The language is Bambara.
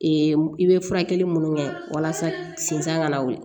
i bɛ furakɛli minnu kɛ walasa sinzan ka na wuli